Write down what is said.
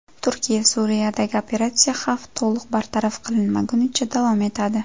Turkiya: Suriyadagi operatsiya xavf to‘liq bartaraf qilinmagunicha davom etadi.